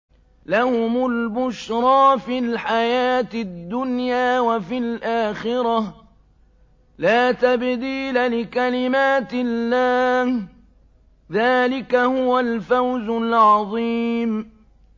لَهُمُ الْبُشْرَىٰ فِي الْحَيَاةِ الدُّنْيَا وَفِي الْآخِرَةِ ۚ لَا تَبْدِيلَ لِكَلِمَاتِ اللَّهِ ۚ ذَٰلِكَ هُوَ الْفَوْزُ الْعَظِيمُ